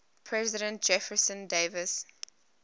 president jefferson davis